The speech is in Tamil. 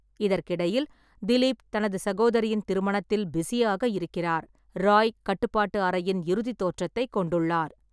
இதற்கிடையில், திலீப் தனது சகோதரியின் திருமணத்தில் பிஸியாக இருக்கிறார், ராய் கட்டுப்பாட்டு அறையின் இறுதி தோற்றத்தைக் கொண்டுள்ளார்.